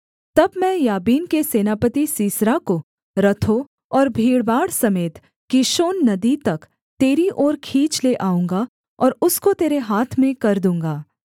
तब मैं याबीन के सेनापति सीसरा को रथों और भीड़भाड़ समेत कीशोन नदी तक तेरी ओर खींच ले आऊँगा और उसको तेरे हाथ में कर दूँगा